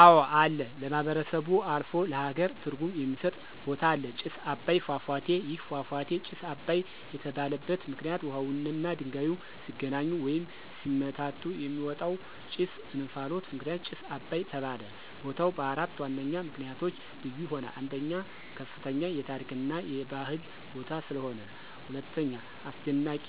አወ አለ ለማህበረሰቡ አልፎ ለሃገር ትርጉም የሚስጥ ቦታ አለ። ጭስ አባይ ፏፏቴ። ይህ ፏፏቴ ጭስ አባይ የተባለበት ምክንይት ውሃውና ድንጋዩ ሲገናኙ ወይም ሲመታቱ የሚወጣው ጭስ /እንፍሎት ምክንያት ጭስ አባይ ተባለ። ቦታው በአራት ዋነኛ ምክንያቶች ልዩ ይሆናል። 1, ከፍተኛ የታሪክ እና የባህል ቦታ ስለሆነ። 2, አስደናቂ